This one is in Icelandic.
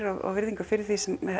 og virðingu fyrir því sem